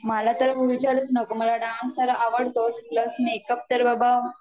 मला तर विचारूच नको मला डान्स तर अवडतोच प्लस मेकअप तर बाबा